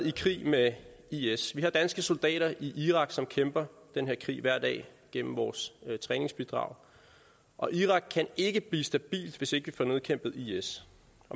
i krig med is vi har danske soldater i irak som kæmper den her krig hver dag gennem vores træningsbidrag og irak kan ikke blive stabilt hvis ikke vi får nedkæmpet is